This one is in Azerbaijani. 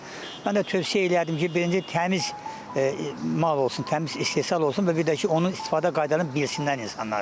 Mən də tövsiyə eləyərdim ki, birinci təmiz mal olsun, təmiz istehsal olsun və bir də ki, onun istifadə qaydalarını bilsinlər insanlar.